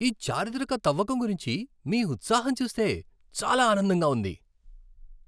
ఈ చారిత్రక తవ్వకం గురించి మీ ఉత్సాహం చూస్తే చాలా ఆనందంగా ఉంది!